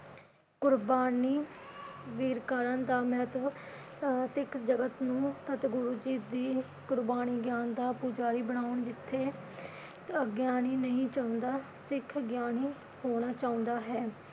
ਕੁਰਬਾਨੀ ਵੀ ਕਰਨ ਦਾ ਮਹੱਤਵ ਅਹ ਸਿੱਖ ਜਗਤ ਨੂੰ ਸਤਿਗੁਰੂ ਜੀ ਦੀ ਕੁਰਬਾਨੀ ਗਿਆਨ ਦਾ ਪੁਜਾਰੀ ਬਣਾਉਣ ਜਿਥੇ ਅਗਿਆਨੀ ਨਹੀ ਚਾਹੁੰਦਾ ਸਿੱਖ ਗਿਆਨੀ ਹੋਣਾ ਚਾਹੁੰਦਾ ਹੈ।